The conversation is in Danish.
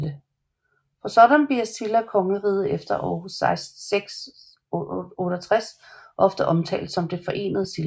Som sådan bliver Silla kongeriget efter år 668 ofte omtalt som det Forenede Silla